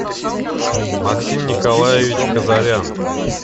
максим николаевич казарян